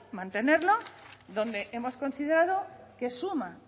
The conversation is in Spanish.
mantenerla donde hemos considerado que suma